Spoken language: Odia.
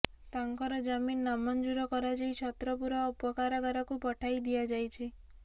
ତାଙ୍କର ଜାମିନ ନାମଞ୍ଜୁର କରାଯାଇ ଛତ୍ରପୁର ଉପକାରାଗାରକୁ ପଠାଇ ଦିଆଯାଇଛି